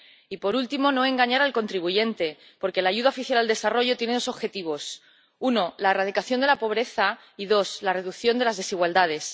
Y, por último, no engañar al contribuyente, porque la ayuda oficial al desarrollo tiene dos objetivos uno, la erradicación de la pobreza, y dos, la reducción de las desigualdades.